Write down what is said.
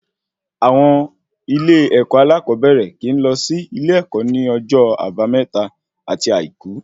Àwọn ilé ẹkọ alakoobere kíì lọ sí ilé-èkó ní ọjọ àbámẹ́ta ati àìkú